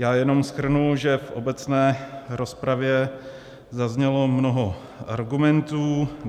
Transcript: Já jenom shrnu, že v obecné rozpravě zaznělo mnoho argumentů.